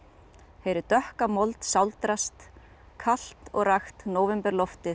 heyri dökka mold sáldrast kalt og rakt